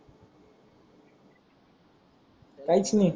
काहीच नाही त्याला